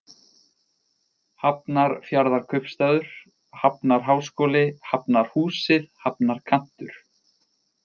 Hafnarfjarðarkaupstaður, Hafnarháskóli, Hafnarhúsið, Hafnarkantur